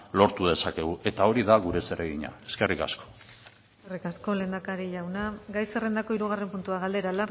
lortu dezakegu eta hori da gure zeregina eskerrik asko eskerrik asko lehendakari jauna gai zerrendako hirugarren puntua galdera